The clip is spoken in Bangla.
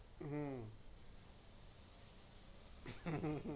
হম